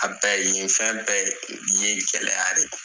A bɛɛ yen fɛn bɛɛ ye gɛlɛya de ye